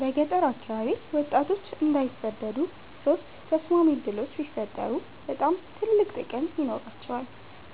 በገጠር አካባቢ ወጣቶች እንዳይሰደዱ ሶስት ተስማሚ ዕድሎች ቢፈጠሩ በጣም ትልቅ ጥቅም ይኖራቸዋል።